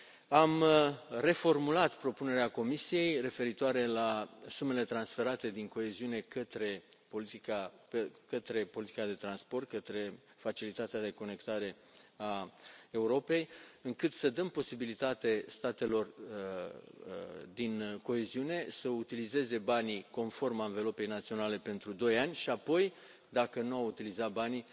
Am reformulat propunerea Comisiei referitoare la sumele transferate din coeziune către politica de transport, către Mecanismul pentru interconectarea Europei, încât să dăm posibilitate statelor din coeziune să utilizeze banii conform anvelopei naționale pentru 2 ani și apoi, dacă nu au utilizat banii,